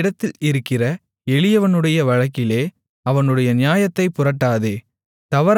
உன்னிடத்தில் இருக்கிற எளியவனுடைய வழக்கிலே அவனுடைய நியாயத்தைப் புரட்டாதே